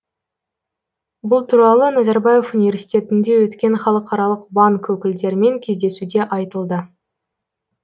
бұл туралы назарбаев университетінде өткен халықаралық банк өкілдерімен кездесуде айтылды